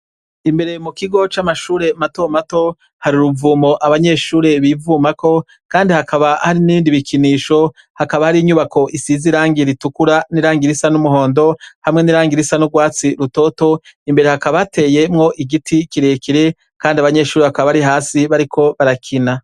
Imbere mu kigo c'amashure mato mato, hari uruvumo abanyeshure bivumako kandi hakaba hari n'ibindi bikinisho, hakaba hari inyubako isize irangi ritukura n'irangi rsa n'umuhondo hamwe n'irangi risa n'urwatsi rutoto. Imbere hakaba hateyemwo igiti kirekire kandi abanyeshuri hakaba bari hasi bariko barakina.